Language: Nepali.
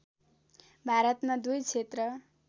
भारतमा दुई क्षेत्र